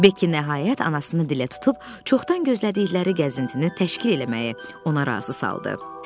Beki nəhayət anasını dilə tutub çoxdan gözlədikləri gəzintini təşkil eləməyə ona razı saldı.